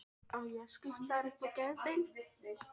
Hann ætlaði að elska hana meðan hann lifði.